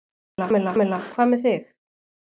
Kamilla, hvað með þig?